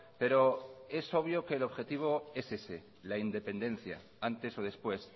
pero es obvio que el objetivo es ese la independencia antes o después